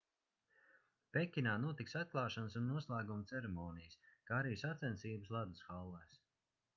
pekinā notiks atklāšanas un noslēguma ceremonijas kā arī sacensības ledus hallēs